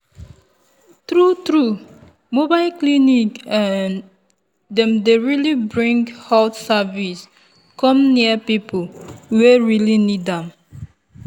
true true mobile clinic[um]dem dey really bring health service come near people wey really need am.